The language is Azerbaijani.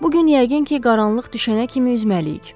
Bu gün yəqin ki qaranlıq düşənə kimi üzməliyik.